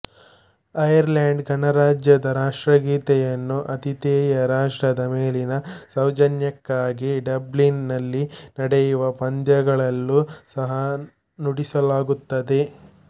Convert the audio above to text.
Ireland ಗಣರಾಜ್ಯದ ರಾಷ್ಟ್ರಗೀತೆಯನ್ನು ಆತಿಥೇಯ ರಾಷ್ಟ್ರದ ಮೇಲಿನ ಸೌಜನ್ಯಕ್ಕಾಗಿ ಡಬ್ಲಿನ್ ನಲ್ಲಿ ನಡೆಯುವ ಪಂದ್ಯಗಳಲ್ಲೂ ಸಹ ನುಡಿಸಲಾಗುತ್ತದೆ